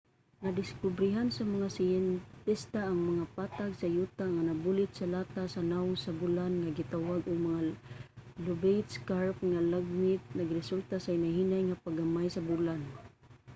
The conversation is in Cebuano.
nadiskobrehan sa mga siyentista ang mga patag sa yuta nga nabulit sa latas sa nawong sa bulan nga gitawag og mga lobate scarp nga lagmit nagresulta sa hinay-hinay nga pagamay sa bulan